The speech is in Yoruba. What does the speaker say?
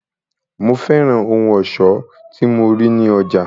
Mo fẹ́ràn ohun ọ̀ṣọ́ tí mo rí ní ọjà.